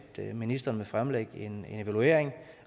ministeren vil fremlægge en evaluering